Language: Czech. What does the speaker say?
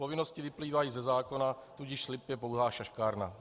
Povinnosti vyplývají ze zákona, tudíž slib je pouhá šaškárna.